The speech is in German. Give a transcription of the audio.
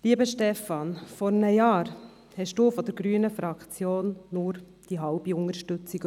Lieber Stefan Costa, vor einem Jahr erhielten Sie von der grünen Fraktion nur die halbe Unterstützung.